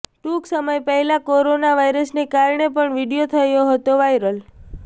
ટૂંક સમય પહેલા કોરોના વાયરસને કારણે પણ વીડિયો થયો હતો વાયરલ